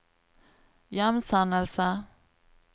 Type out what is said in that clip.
hjemsendelse